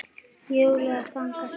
Júlía þagnar snöggt.